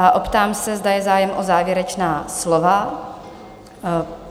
A optám se, zda je zájem o závěrečná slova?